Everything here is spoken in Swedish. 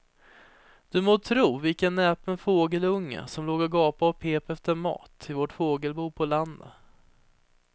Du må tro vilken näpen fågelunge som låg och gapade och pep efter mat i vårt fågelbo på landet.